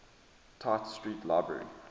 tite street library